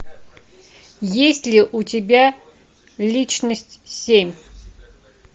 есть ли у тебя личность семь